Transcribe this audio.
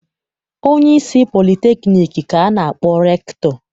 Onyeisi politekniik ka a na-akpọ rektọ.